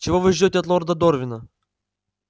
чего вы ждёте от лорда дорвина